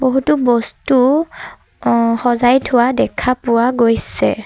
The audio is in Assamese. বহুতো বস্তু অ সজাই থোৱা দেখা পোৱা গৈছে।